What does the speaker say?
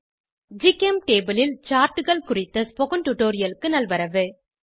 ஜிகெம்டேபுள் ல் Chartகள் குறித்த டுடோரிலுக்கு நல்வரவு